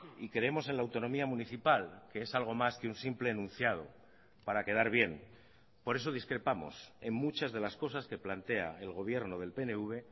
y creemos en la autonomía municipal que es algo más que un simple enunciado para quedar bien por eso discrepamos en muchas de las cosas que plantea el gobierno del pnv